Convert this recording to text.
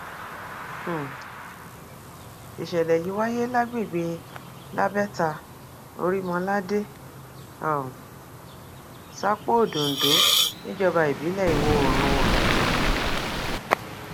um ìṣẹlẹ yìí wáyé lágbègbè labẹta orímọládé um sápó odòńdó níjọba ìbílẹ ìwọoòrùn ondo